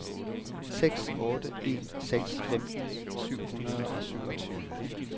seks otte en seks femten syv hundrede og syvogtyve